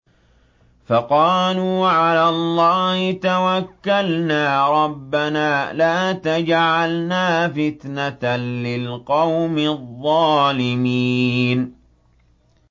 فَقَالُوا عَلَى اللَّهِ تَوَكَّلْنَا رَبَّنَا لَا تَجْعَلْنَا فِتْنَةً لِّلْقَوْمِ الظَّالِمِينَ